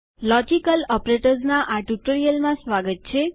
logical operators તર્કસંગત પ્રચાલકો ના આ ટ્યુટોરીયલમાં સ્વાગત છે